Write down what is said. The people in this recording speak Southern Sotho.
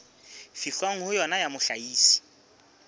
fihlwang ho yona ya mohlahisi